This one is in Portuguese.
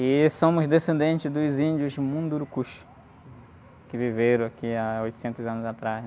E somos descendentes dos índios mundurucus, que viveram aqui há oitocentos anos atrás.